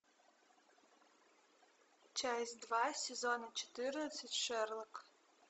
часть два сезона четырнадцать шерлок